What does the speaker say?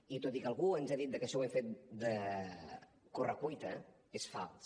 i tot i que algú ens ha dit que això ho hem fet a correcuita és fals